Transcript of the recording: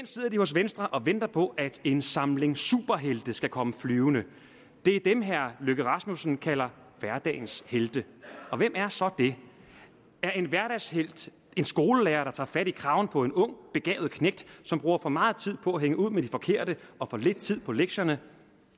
sidder de hos venstre og venter på at en samling superhelte skal komme flyvende det er dem herre løkke rasmussen kalder hverdagens helte og hvem er så er det er en hverdagshelt en skolelærer der tager fat i kraven på en ung begavet knægt som bruger for meget tid på at hænge ud med de forkerte og for lidt tid på lektierne